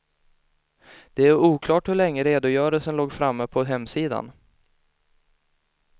Det är oklart hur länge redogörelsen låg framme på hemsidan.